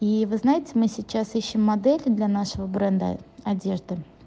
и вы знаете мы сейчас ищем модели для нашего бренда одежды